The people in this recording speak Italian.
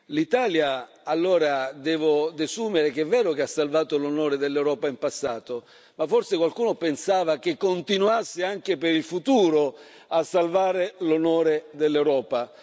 L'Italia allora, devo desumere che è vero che ha salvato l'onore dell'Europa in passato, ma forse qualcuno pensava che continuasse anche per il futuro a salvare l'onore dell'Europa.